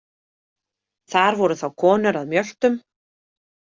Þar voru þá konur að mjöltum.